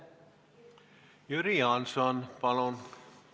Jüri Jaanson, palun!